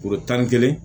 tan ni kelen